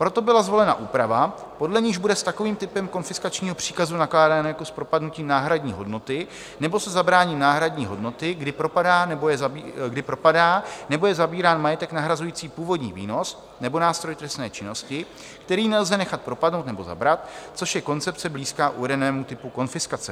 Proto byla zvolena úprava, podle níž bude s takovým typem konfiskačního příkazu nakládáno jako s propadnutím náhradní hodnoty nebo se zabráním náhradní hodnoty, kdy propadá nebo je zabírán majetek nahrazující původní výnos nebo nástroj trestné činnosti, který nelze nechat propadnout nebo zabrat, což je koncepce blízká uvedenému typu konfiskace.